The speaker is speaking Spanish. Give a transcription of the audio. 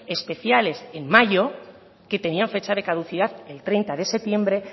especiales en mayo que tenían fecha de caducidad el treinta de septiembre